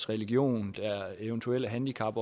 religion eventuelle handicap